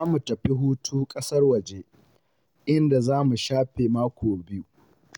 Za mu tafi hutu ƙasar waje, inda za mu shafe mako biyu.